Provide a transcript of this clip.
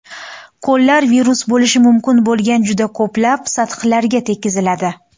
Qo‘llar virus bo‘lishi mumkin bo‘lgan juda ko‘plab sathlarga tekkiziladi.